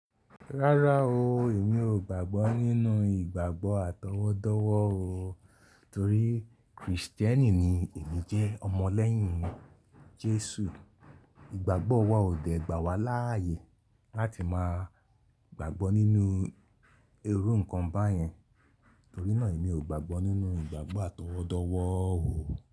Rárá o, èmi ò gbàgbọ́ nínú ìgbàgbọ́ atọwọ́dọ́wọ́ o. Torí Kristẹni ni èmi jẹ́, ọmọ lẹ́yìn Jésù. Ìgbàgbọ́ wa ò dẹ̀ gbà wá láàyè láti máa gbàgbọ́ nínú irú nǹkan báyẹn. Torí náà èmi ò gbàgbọ́ nínú ìgbàgbọ́ atọwọ́dọ́wọ́ o.